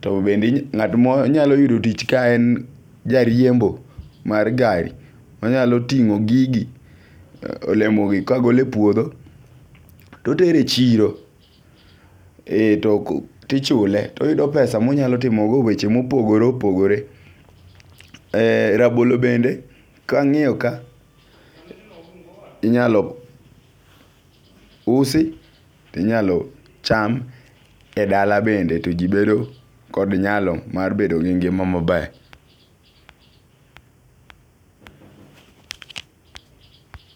To bende ng'at ma nyalo yudo tich kaen jariembo mar gari ,onyalo ting'o gigi olemo gi kagole puodho totere chiro e to tichule ,toyudo pesa monyalo timo go weche mopogore opogore . Rabolo bende kang'iyo ka inyaloi usi inyalo cham e dala bende to jii bedo kod nyalo mar bedo gi ngima maber